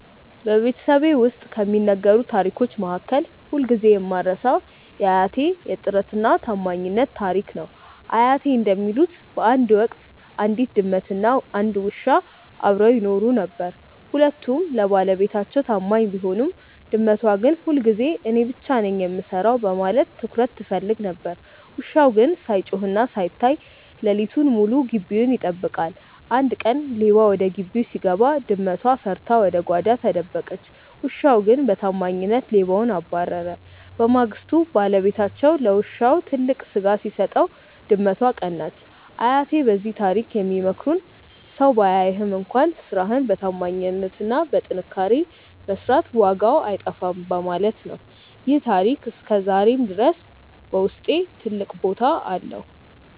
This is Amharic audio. በቤተሰቤ ውስጥ ከሚነገሩ ታሪኮች መካከል ሁልጊዜ የማልረሳው የአያቴ "የጥረትና የታማኝነት" ታሪክ ነው። አያቴ እንደሚሉት፣ በአንድ ወቅት አንዲት ድመትና አንድ ውሻ አብረው ይኖሩ ነበር። ሁለቱም ለባለቤታቸው ታማኝ ቢሆኑም፣ ድመቷ ግን ሁልጊዜ እኔ ብቻ ነኝ የምሰራው በማለት ትኩረት ትፈልግ ነበር። ውሻው ግን ሳይጮህና ሳይታይ ሌሊቱን ሙሉ ግቢውን ይጠብቃል። አንድ ቀን ሌባ ወደ ግቢው ሲገባ፣ ድመቷ ፈርታ ወደ ጓዳ ተደበቀች። ውሻው ግን በታማኝነት ሌባውን አባረረ። በማግስቱ ባለቤታቸው ለውሻው ትልቅ ስጋ ሲሰጠው፣ ድመቷ ቀናች። አያቴ በዚህ ታሪክ የሚመክሩን ሰው ባያይህም እንኳን ስራህን በታማኝነትና በጥንካሬ መስራት ዋጋው አይጠፋም በማለት ነው። ይህ ታሪክ ዛሬም ድረስ በውስጤ ትልቅ ቦታ አለው።